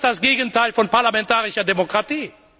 Und das ist das Gegenteil von parlamentarischer Demokratie.